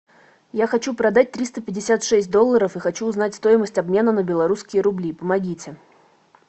я хочу продать триста пятьдесят шесть долларов и хочу узнать стоимость обмена на белорусские рубли помогите